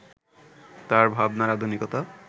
তাঁর ভাবনার আধুনিকতা